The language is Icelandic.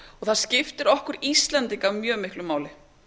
það skiptir okkur íslendinga mjög miklu máli